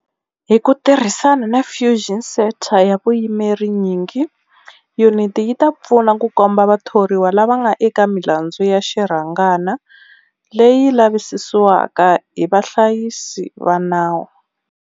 Hi ku tirhisana na Fusion Centre ya vuyimeri nyingi, yuniti yi ta pfuna ku komba vathoriwa lava nga eka milandzu ya xirhangana leyi lavisisiwaka hi vahlayisi va nawu.